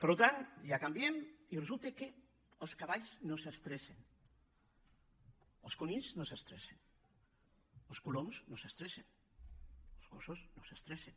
per tant ja canviem i resulta que els cavalls no s’estressen els conills no s’estressen els coloms no s’estressen els gossos no s’estressen